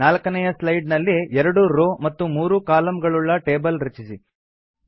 ನಾಲ್ಕನೇಯ slide ನಲ್ಲಿ ೨ row ಮತ್ತು ೩ column ಗಳುಳ್ಳ ಟೇಬಲ್ ರಚಿಸಿ